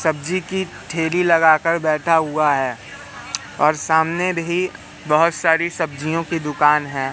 सब्जी की ठेली लगा कर बैठा हुआ है और सामने भी बहोत सारी सब्जियों की दुकान हैं।